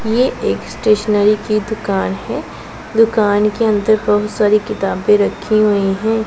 ये एक स्टेशनरी की दुकान है दुकान के अंदर बहुत सारी किताबें रखी हुई हैं।